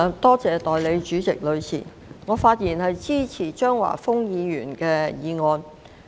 代理主席，我發言支持張華峰議員的議案。